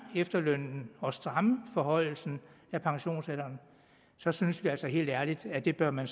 efterlønnen og stramme forhøjelsen af pensionsalderen så synes vi altså helt ærligt at det bør man